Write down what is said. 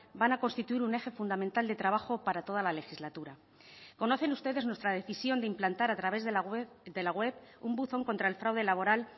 van a constituir un eje fundamental de trabajo para toda la legislatura conocen ustedes nuestra decisión de implantar a través de la web un buzón contra el fraude laboral